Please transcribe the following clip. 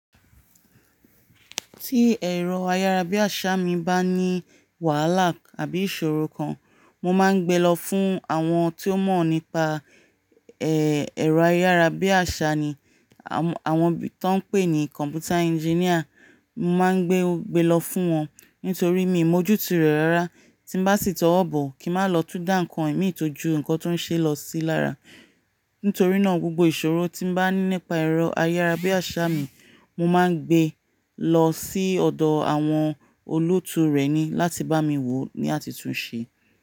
Tí ẹ̀rọ ayárabíàṣá mi bá ní wàhálà àbí ìṣòro kan, mo máa ń gbe lọ fún àwọn tí o mọ̀ nípa, ẹ́, ẹ̀rọ ayárabíàṣá ni, àwọn tí wọ́n ń pè ní Computer Engineer. Mo máa ń gbe, gbe lọ fún wọn nítorí mi ò mọ ojú tu rẹ̀ rárá. Tí bá sì tọ́ wọ́ bọ̀ kí máa lọ tú da nnkan mi tọ́jú nǹkan tó ń ṣe lọ sí lára. Nítorí náà gbogbo ìṣòro tí bá ní nípa ẹ̀rọ ayárabíàṣá mi, mo máa ń gbe lọ sí ọ̀dọ̀ àwọn olóòtú rẹ̀ ni láti bá mi wò ó ní àtitùn ṣe.